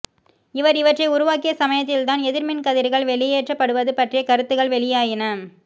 இவர் இவற்றை உருவாக்கிய சமயத்தில்தான் எதிர்மின் கதிர்கள் வெளியேற்றப்படுவது பற்றிய கருத்துகள் வெளியாயின